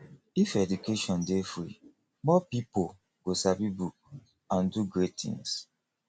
if education dey free more pipo go sabi book and do great things